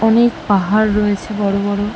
অনেক পাহাড় রয়েছে বড়ো বড়ো।